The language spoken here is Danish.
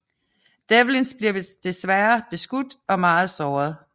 Devlins bliver desværrer beskudt og meget såret